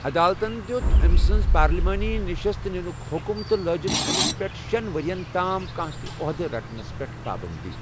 عدالتن دِیُوت امہِ سٕنز پارلیمانی نشست نِنٗك حٗکم تہٕ لٲجِن امِس پیٹھ شین ورٮ۪ن تام كانہہ تہِ اوحدٕ رٹنس پیٹھ پابندی ۔